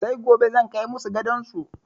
Sai gobe zan kai masu gadon su.